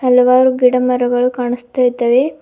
ಹಲವಾರು ಗಿಡ ಮರಗಳು ಕಾಣುಸ್ತಾ ಇದ್ದಾವೆ.